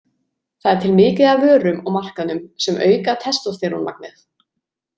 Það er til mikið af vörum á markaðnum sem auka testósterónmagnið.